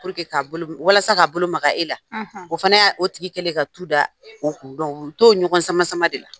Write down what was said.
Puruke k'a bolo , walasa k'a bolo Maka e la. o fana y'a o tigi kɛlen ka tu da o kun u be t'o ɲɔgɔn sama sama de la.